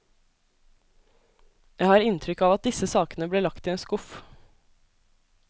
Jeg har inntrykk av at disse sakene ble lagt i en skuff.